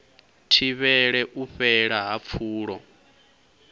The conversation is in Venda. thivhele u fhela ha pfulo